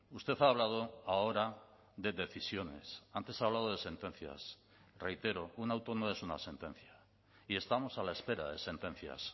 usted ha hablado ahora de decisiones antes ha hablado de sentencias reitero un auto no es una sentencia y estamos a la espera de sentencias